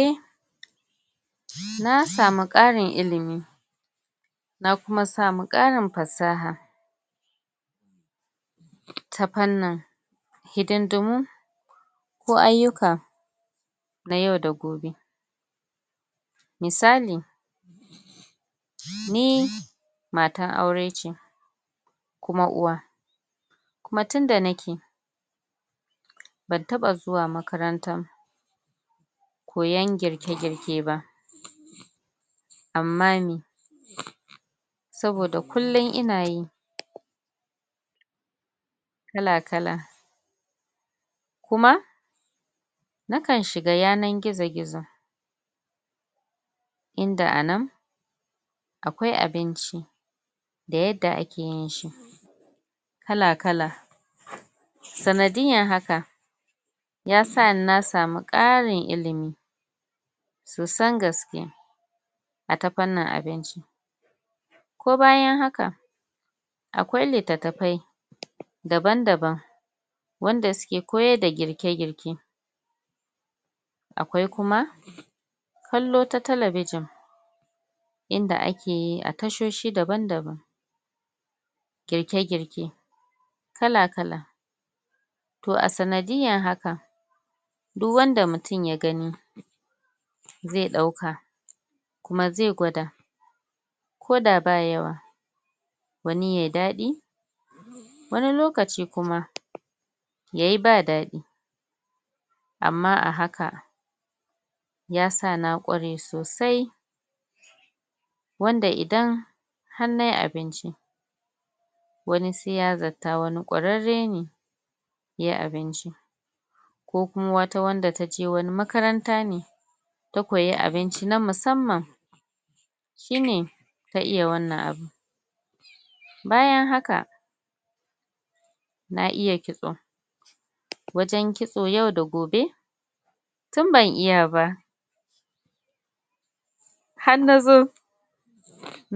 eh nasamu karin ilimi na kuma samu karin fasaha ta fannin hidindimu ko aiyuka na yau da gobe misali ni matar aure ce kuma uwa kuma tun da nake ban taba zuwa makarantan koyan girke girke ba amma meh saboda kullun ina yi kala kala kuma na kan shiga yanar gizo gizo inda anan akwai abinci da yadda ake yin shi kala kala sanadiyan haka yasa ni nasamu karin ilimi sosan gaske a ta fannin abinci ko bayan haka akwai littatafai daban daban wanda suke koyar da girke girke akwai kuma kallo ta telebijin inda akeyi a tashoshi daban daban girke girke kala kala toh a sanadiyan haka duk wanda mutum ya gani zai dauka kuma zai gwada koda ba yawa wani yayi dadi wani lokaci kuma yayi ba dadi amma a haka yasa na ƙware sosai wanda idan har nayi abinci wani sai ya zata wani ƙwararre ne yayi abincin ko kuma wata wanda taje wani makaranta ne ta koyi abinci na musamman shine ta iya wannan bayan haka na iya ƙitso wajen ƙitso yau da gobe tun ban iya ba har nazo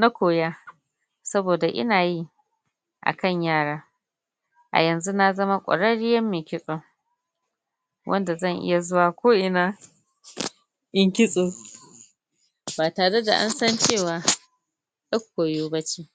na koya saboda ina yi a kan yara a yanzu nazama ƙwarriyan mai ƙitso wanda zan iya zuwa ko ina yin ƙitso ba tare da an san cewa yar koyo bace